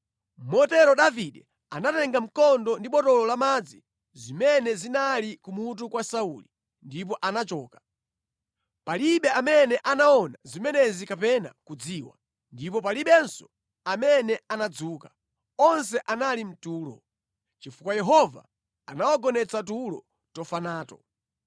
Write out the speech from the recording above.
Motero Davide anatenga mkondo ndi botolo lamadzi zimene zinali ku mutu kwa Sauli ndipo anachoka. Palibe amene anaona zimenezi kapena kudziwa, ndipo palibenso amene anadzuka. Onse anali mʼtulo, chifukwa Yehova anawagonetsa tulo tofa nato.